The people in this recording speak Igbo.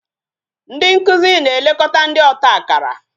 Ndị nkụzi na-elekọta ndị ọta akara